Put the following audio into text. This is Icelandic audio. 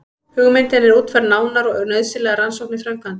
Hugmyndin er útfærð nánar og nauðsynlegar rannsóknir framkvæmdar.